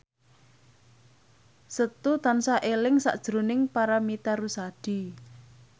Setu tansah eling sakjroning Paramitha Rusady